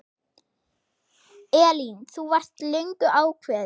Elín: Þú varst löngu ákveðin?